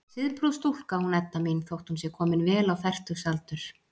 Siðprúð stúlka, hún Edda mín, þótt hún sé komin vel á fertugsaldur.